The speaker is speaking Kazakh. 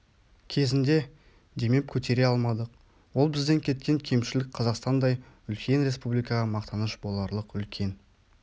кезінде демеп көтере алмадық ол бізден кеткен кемшілік қазақстандай үлкен республикаға мақтаныш боларлық үлкен